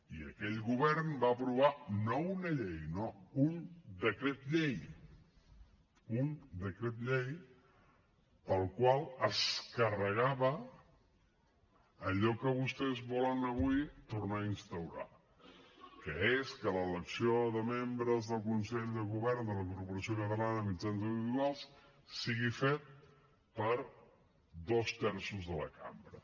i aquell govern va aprovar no una llei no un decret llei un decret llei pel qual es carregava allò que vostès volen avui tornar a instaurar que és que l’elecció de membres del consell de govern de la corporació catalana de mitjans audiovisuals sigui feta per dos terços de la cambra